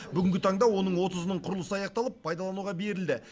бүгінгі таңда оның отызының құрылысы аяқталып пайдалануға берілді